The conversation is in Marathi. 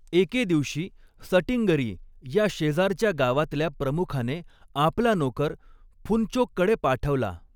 एके दिवशी सटींगरी या शेजारच्या गावातल्या प्रमुखाने आपला नोकर फुनचोककडे पाठवला.